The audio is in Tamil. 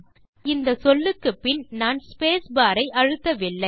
இப்போது இந்த சொல்லுக்குப்பின் நான் ஸ்பேஸ் பார் ஐ அழுத்தவில்லை